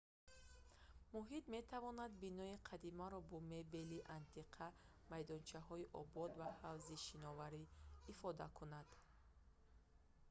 муҳит метавонад бинои қадимаро бо мебели антиқа майдончаҳои обод ва ҳавзи шиноварӣ ифода кунад